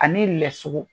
Ani lɛsu